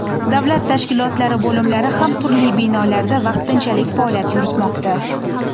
Davlat tashkilotlari bo‘limlari ham turli binolarda vaqtinchalik faoliyat yuritmoqda.